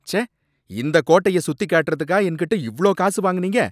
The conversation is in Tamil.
ச்சே! இந்த கோட்டைய சுத்தி காட்டுறதுக்கா என்கிட்ட இவ்ளோ காசு வாங்குனீங்க?